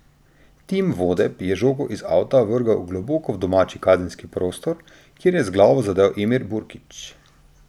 Tim Vodeb je žogo iz avta vrgel globoko v domači kazenski prostor, kjer je z glavo zadel Emir Burkić.